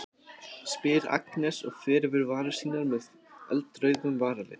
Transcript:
spyr Agnes og fer yfir varir sínar með með eldrauðum varalit.